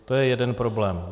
To je jeden problém.